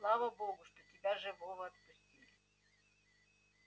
слава богу что тебя живого отпустили